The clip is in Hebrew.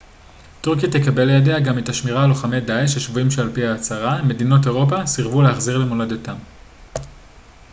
טורקיה תקבל לידיה גם את השמירה על לוחמי דאעש השבויים שעל פי ההצהרה מדינות אירופה סירבו להחזיר למולדתם